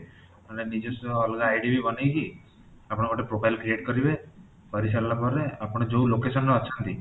ନହେଲେ ନିଜସ୍ୱ ଅଲଗା ID ବି ବନେଇ କି ଆପଣ ଗୋଟେ profile creat କରିବେ କରି ସାରିଲା ପରେ ଆପଣ ଯୋଉ location ରେ ଅଛନ୍ତି